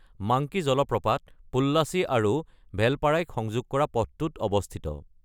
Monkey জলপ্ৰপাত পোল্লাচী আৰু ভেলপাৰাইক সংযোগ কৰা পথটোত অৱস্থিত।